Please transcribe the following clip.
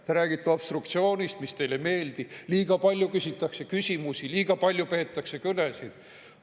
Te räägite obstruktsioonist, mis teile ei meeldi, et liiga palju küsitakse küsimusi, liiga palju peetakse kõnesid.